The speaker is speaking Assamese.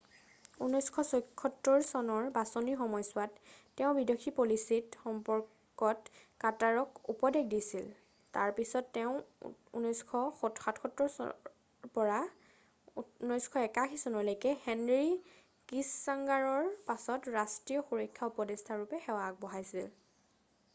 1976 চনৰ বাচনিৰ সময়ছোৱাত তেওঁ বিদেশী পলিচিৰ সম্পৰ্কত কাৰ্টাৰক উপদেশ দিছিল তাৰ পিছিত তেওঁ 1977ৰ পৰা 1981চনলৈকে হেনৰি কিচংগাৰৰ পাছত ৰাষ্ট্ৰীয় সুৰক্ষা উপদেষ্টা nsa ৰূপে সেৱা আগবঢ়াইছিল।